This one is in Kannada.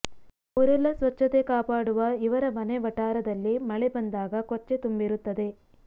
ಊರೆಲ್ಲ ಸ್ವತ್ಛತೆ ಕಾಪಾಡುವ ಇವರ ಮನೆ ವಠಾರದಲ್ಲಿ ಮಳೆ ಬಂದಾಗ ಕೊಚ್ಚೆ ತುಂಬಿರುತ್ತದೆ